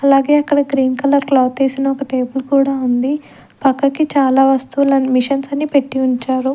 అలాగే అక్కడ cream colour cloth వేసిన ఒక టేబుల్ కూడా ఉంది పక్కకి చాలా వస్తువులను మిషన్స్ అని పెట్టి ఉంచారు.